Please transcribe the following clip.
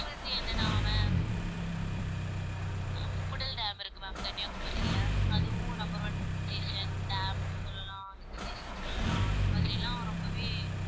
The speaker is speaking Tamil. next வந்து என்னனா ma'am அஹ் முக்கூடல் டேம் இருக்கு ma'am கன்னியாகுமரியில அதுவும் number one hill station, dam சொல்லலாம் hill station சொல்லலாம் அந்த மாதிரியெல்லாம் ரொம்பவே